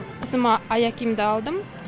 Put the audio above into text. қызыма аяқ киімді алдым